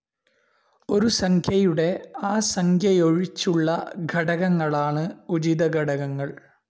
ഒരു സംഖ്യയുടെ ആ സംഖ്യയൊഴിച്ചുള്ള ഘടകങ്ങളാണ് ഉചിത ഘടകങ്ങൾ.